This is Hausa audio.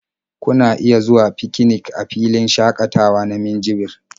Kuna iya zuwa fikinik a filin shaƙatawa na Minjibir.